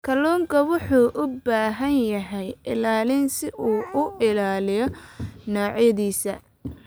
Kalluunku wuxuu u baahan yahay ilaalin si uu u ilaaliyo noocyadiisa.